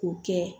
K'o kɛ